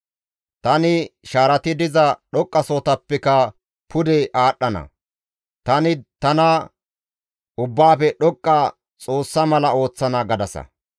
Tani shaarati diza dhoqqasohoppeka pude aadhdhana; tani tana Ubbaafe Dhoqqa Xoossa mala ooththana» gadasa.